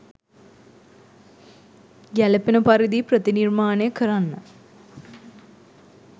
ගැළපෙන පරිදි ප්‍රතිනිර්මාණය කරන්න